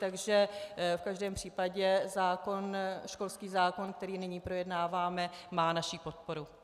Takže v každém případě školský zákon, který nyní projednáváme, má naši podporu.